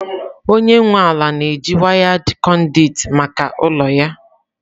Onye nwe ala na-eji wired conduit maka ụlọ ya.